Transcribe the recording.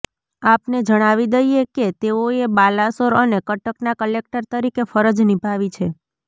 આપને જણાવી દઈએ કે તેઓએ બાલાસોર અને કટકના કલેક્ટર તરીકે ફરજ નિભાવી છે